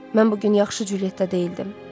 Mən bu gün yaxşı Julietta deyildim.